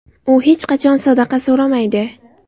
U hech qachon sadaqa so‘ramaydi.